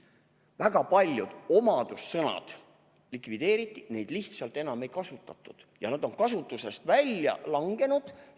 Väga paljud omadussõnad likvideeriti, neid lihtsalt enam ei kasutatud ja nad on kasutusest välja langenud.